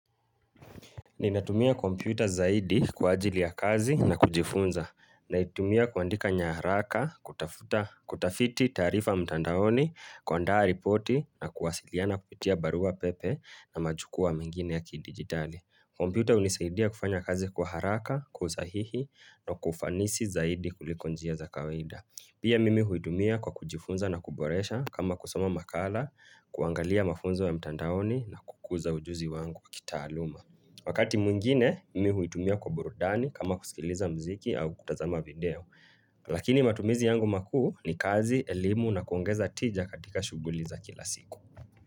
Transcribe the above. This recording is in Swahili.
Ninatumia kompyuta zaidi kwa ajili ya kazi na kujifunza Naitumia kuandika nyaraka kutafuta kutafiti tarifa mtandaoni kuandaa ripoti na kuwasiliana kupitia barua pepe na majukua mengine ya kidigitali kompyuta hunisaidia kufanya kazi kwa haraka kwausahihi na kwaufanisi zaidi kuliko njia za kawaida Pia mimi huitumia kwa kujifunza na kuboresha kama kusoma makala kuangalia mafunzo ya mtandaoni na kukuza ujuzi wangu kitaaluma Wakati mwingine mimi huitumia kwa burudani kama kusikiliza mziki au kutazama video. Lakini matumizi yangu makuu ni kazi, elimu na kuongeza tija katika shuguli za kila siku.